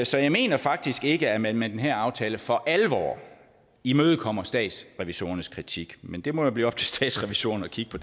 så jeg mener faktisk ikke at man med den her aftale for alvor imødekommer statsrevisorernes kritik men det må jo blive op til statsrevisorerne at kigge på